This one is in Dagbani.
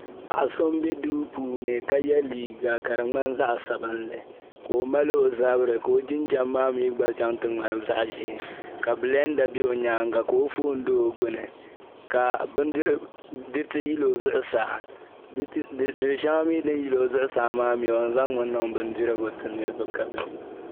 paɣa so m-be duu puuni ka ye liiga ka di ŋmani zaɣ' sabilinli ka o mali o zabiri ka o jinjam maa mi gba chaŋ n-ti ŋmani zaɣ' ʒee ka bilɛnda be o nyaaŋga ka o foon do o gbuni ka diriti yili o zuɣusaa diri' shɛŋa mi din yili o zuɣusaa mi o yɛn zaŋmi niŋ bindirigu nti niriba ka bɛ di